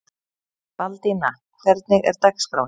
Baldína, hvernig er dagskráin?